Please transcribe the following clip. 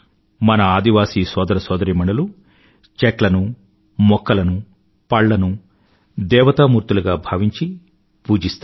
మన ఆదివాసీ సోదర సోదరీమణులు చెట్లనుమొక్కలను పళ్లను దేవతామూర్తులుగా భావించి పూజిస్తారు